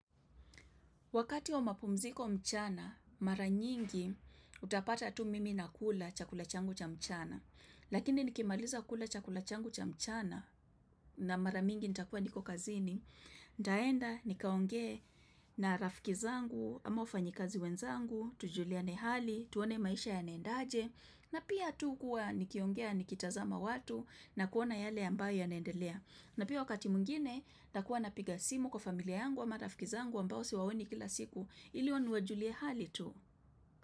Wakati wa mapumziko mchana, mara nyingi utapata tu mimi na kula chakula changu cha mchana. Lakini nikimaliza kula chakula changu cha mchana na mara mingi nitakua niko kazini. Nitaenda nikaongee na rafikizangu ama wafanyikazi wenzangu, tujuliane hali, tuone maisha ya naenda aje. Na pia tu kuwa nikiongea nikitazama watu na kuona yale ambayo ya naendelea. Na pia wakati mwingine, nitakuwa na piga simu kwa familia yangu a ma rafikiza nguw ambao siwaoni kila siku ili hao niwajulie hali tu.